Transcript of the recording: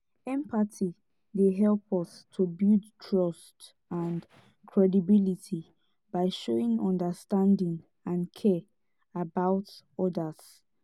empathy dey help us to build trust and credibility by showing understanding and care about odas.